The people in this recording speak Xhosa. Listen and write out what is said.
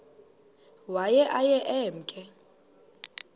waye aye emke